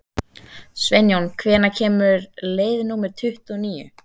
Sveinjón, hvenær kemur leið númer tuttugu og níu?